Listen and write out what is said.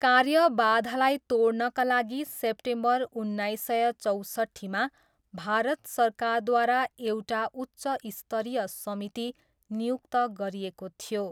कार्यबाधालाई तोड्नका लागि सेप्टेम्बर उन्नाइस सय चौसट्ठीमा भारत सरकारद्वारा एउटा उच्च स्तरीय समिति नियुक्त गरिएको थियो।